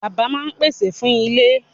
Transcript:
Bàbá máa pèsè fún ilé.